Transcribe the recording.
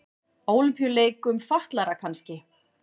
Ólympíuleikum fatlaðra kannski.